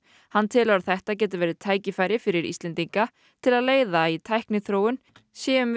hann telur að þetta geti verið tækifæri fyrir Íslendinga til að leiða í tækniþróun séum við